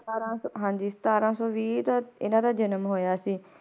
ਸਤਾਰਾਂ ਸੌ ਹਾਂਜੀ ਸਤਾਰਾਂ ਸੌ ਵੀਹ ਦਾ ਇਹਨਾਂ ਦਾ ਜਨਮ ਹੋਇਆ ਸੀ।